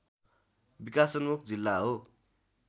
विकासोन्मुख जिल्ला हो